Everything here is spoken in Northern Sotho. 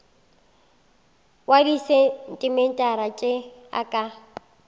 wa disentimetara tše e ka